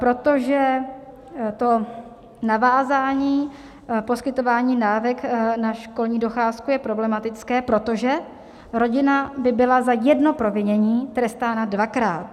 Protože to navázání poskytování dávek na školní docházku je problematické, protože rodina by byla za jedno provinění trestána dvakrát.